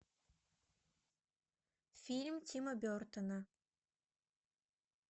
фильм тима бертона